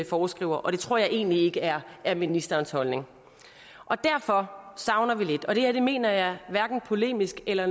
foreskriver og det tror jeg egentlig ikke er er ministerens holdning derfor savner vi lidt og det her mener jeg hverken polemisk eller